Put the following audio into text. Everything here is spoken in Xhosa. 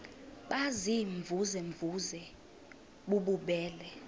baziimvuze mvuze bububele